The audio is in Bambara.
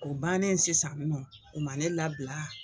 O bannen sisan u ma u ma ne labila